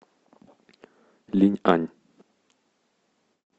линьань